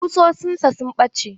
Ƙusoshin sa sun ɓace.